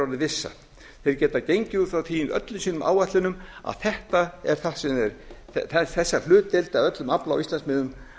orðin vissa þeir geta gengið út frá því í öllum sínu áætlunum að þessari hlutdeild af öllum afla á íslandsmiðum